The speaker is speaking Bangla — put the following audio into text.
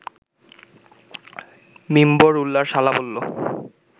মিম্বর উল্লার শালা বলল